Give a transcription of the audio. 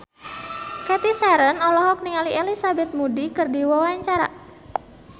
Cathy Sharon olohok ningali Elizabeth Moody keur diwawancara